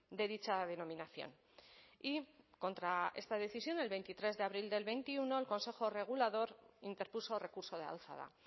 de dicha denominación y contra esta decisión del veintitrés de abril del veintiuno el consejo regulador interpuso recurso de alzada